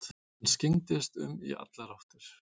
Hann skyggndist um í allar áttir.